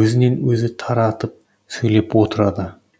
өзінен өзі таратып сөйлеп отырады